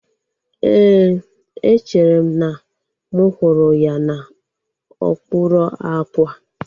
Éè, echere m na mụ hụrụ ya n'okpuru àkwà